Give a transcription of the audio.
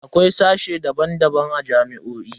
Akwai sashe daban-daban a jami'o'i.